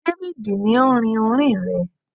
David ni o rin orín rẹ